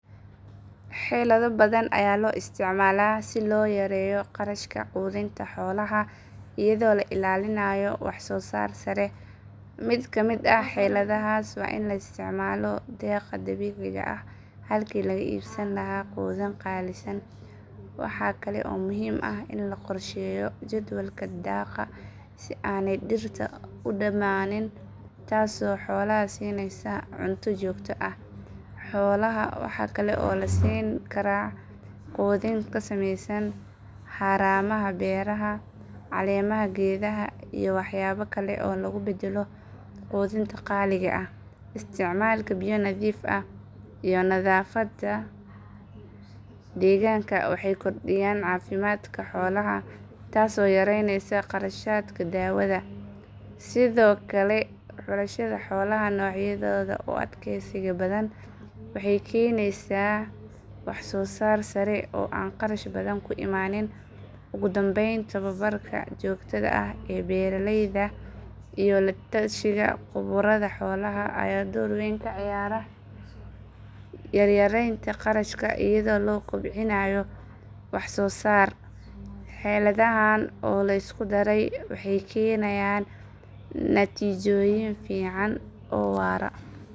Xeelado badan ayaa la isticmaalaa si loo yareeyo kharashka quudinta xoolaha iyadoo la ilaalinayo wax soo saar sare. Mid ka mid ah xeeladahaas waa in la isticmaalo daaqa dabiiciga ah halkii laga iibsan lahaa quudin qaalisan. Waxa kale oo muhiim ah in la qorsheeyo jadwalka daaqa si aanay dhirta u dhammaanin, taas oo xoolaha siinaysa cunto joogto ah. Xoolaha waxaa kale oo la siin karaa quudin ka samaysan haramaha beeraha, caleemaha geedaha, iyo waxyaabo kale oo lagu beddelo quudinta qaaliga ah. Isticmaalka biyo nadiif ah iyo nadaafadda deegaanka waxay kordhiyaan caafimaadka xoolaha taasoo yareynaysa kharashaadka daawada. Sidoo kale, xulashada xoolaha noocyadooda u adkeysiga badan waxay keenaysaa wax soo saar sare oo aan kharash badan ku imaanin. Ugu dambayn, tababarka joogtada ah ee beeraleyda iyo la tashiga khuburada xoolaha ayaa door weyn ka ciyaara yaraynta kharashaadka iyadoo la kobcinayo wax soo saarka. Xeeladahaan oo la isku daray waxay keenayaan natiijooyin fiican oo waara.